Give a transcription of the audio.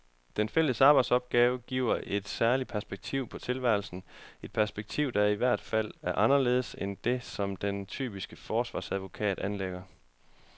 Den fælles arbejdsopgave giver et særligt perspektiv på tilværelsen, et perspektiv, der i hvert fald er anderledes end det, som den typiske forsvarsadvokat anlægger.